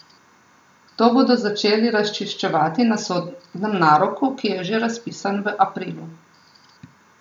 To bodo začeli razčiščevati na sodnem naroku, ki je že razpisan v aprilu.